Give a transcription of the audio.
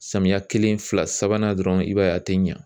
Samiya kelen fila, sabanan dɔrɔnw, i b'a ye a tɛ ɲan.